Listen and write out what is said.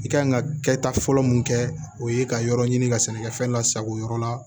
I kan ka kɛta fɔlɔ mun kɛ o ye ka yɔrɔ ɲini ka sɛnɛkɛfɛn lasago yɔrɔ la